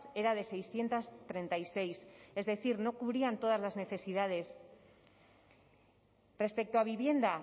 era de seiscientos treinta y seis es decir no cubrían todas las necesidades respecto a vivienda